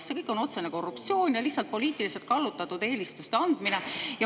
See kõik on otsene korruptsioon ja lihtsalt poliitiliselt kallutatud eelistuste andmine.